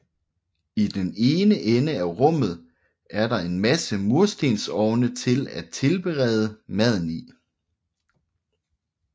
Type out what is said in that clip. I den ene ende af rummet er der en masse murstensovne til at tilberede maden i